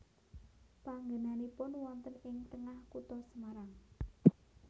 Panggenanipun wonten ing tengah kutha Semarang